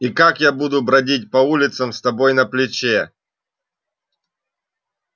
и как я буду бродить по улицам с тобой на плече